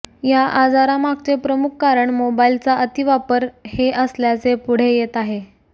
या आजारामागचे प्रमुख कारण मोबाईलचा अतिवापर हे असल्याचे पूढे येत आहे